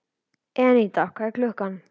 Eníta, hvað er klukkan?